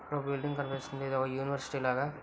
ఇక్కడ ఓ బిల్డింగ్ కనిపిస్తుంది .ఇది ఓ యూనివర్సిటీ లాగా --